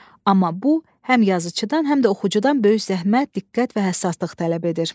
Amma bu həm yazıcıdan, həm də oxucudan böyük zəhmət, diqqət və həssaslıq tələb edir.